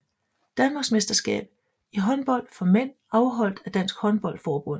Danmarksmesterskab i håndbold for mænd afholdt af Dansk Håndbold Forbund